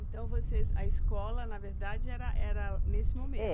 Então, vocês, a escola, na verdade, era era nesse momento? É